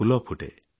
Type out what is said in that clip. ଫୁଲ ଫୁଟେ